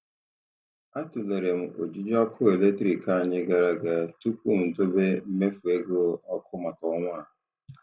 A tụlere m ojiji ọkụ eletrik anyị gara aga tupu m dobe mmefu ego ọkụ maka ọnwa a.